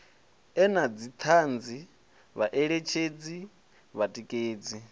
e na dzithanzi vhaeletshedzi vhatikedzi